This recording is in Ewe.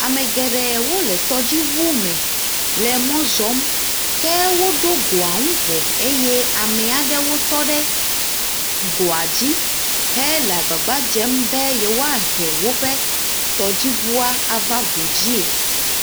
Ame geɖee wole tɔdziŋu me le mɔ zɔm ko woɖo goa nu vɔ eye ame aɖewo tɔ ɖe goa dzi hele agbagba dzem be yewoahe woƒe tɔdziŋua ava go dzie.